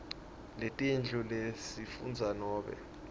letetindlu lesifundza nobe